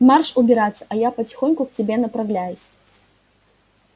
марш убираться а я потихоньку к тебе направляюсь